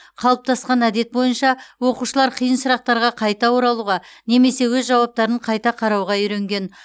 қалыптасқан әдет бойынша оқушылар қиын сұрақтарға қайта оралуға немесе өз жауаптарын қайта қарауға үйренген